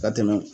Ka tɛmɛ